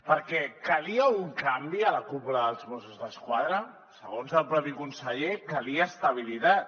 perquè calia un canvi a la cúpula dels mossos d’esquadra segons el propi conseller calia estabilitat